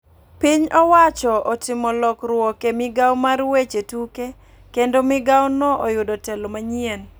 Piny owacho otimo lokruok e migao mar weche tuke ,kendo migao no oyudo telo manyien.